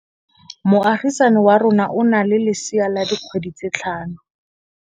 Moagisane wa rona o na le lesea la dikgwedi tse tlhano.